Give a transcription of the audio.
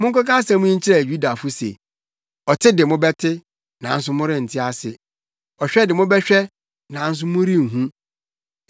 “Monkɔka asɛm yi nkyerɛ Yudafo se, ‘Ɔte de mobɛte, nanso morente ase. Ɔhwɛ de mobɛhwɛ, nanso morenhu,’